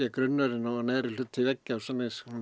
grunnurinn og neðri hluti veggja